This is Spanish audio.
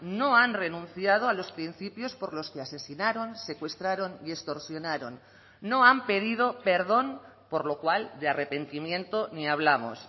no han renunciado a los principios por los que asesinaron secuestraron y extorsionaron no han pedido perdón por lo cual de arrepentimiento ni hablamos